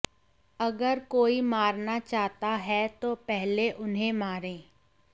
अगर कोई मारना चाहता है तो पहले उन्हें मारे